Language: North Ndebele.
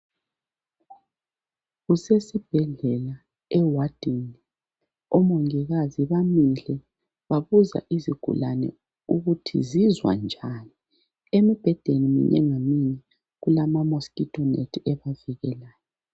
Kusesibhedlela ewadini .Omongikazi bamile babuza izigulane ukuthi zizwa njani. Embhedeni minye ngaminye kulama mosquito net ebavikelayo